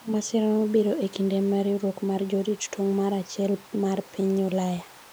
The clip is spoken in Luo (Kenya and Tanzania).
masira no biro e kinde ma riwruok mar jorit tong' mar achiel mar piny Ulaya